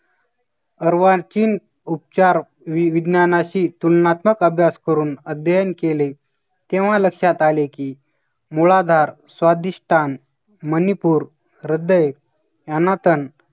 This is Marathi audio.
अरवाचीन उपचार वि विज्ञानाशी तुलनात्मक अभ्यास करून अध्ययन केले, तेव्हा लक्षात आले की मुळाधार, स्वादिष्टान, मनिपुर, ह्रदय, अनाथन